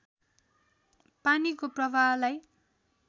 पानीको प्रवाहलाई